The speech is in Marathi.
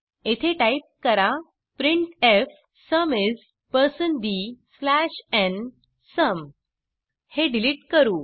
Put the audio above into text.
येथे टाइप करा printfसुम isdnसुम हे डिलिट करू